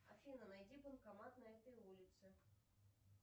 афина найди банкомат на этой улице